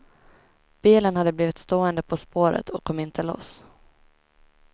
Bilen hade blivit stående på spåret och kom inte loss.